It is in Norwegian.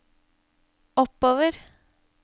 oppover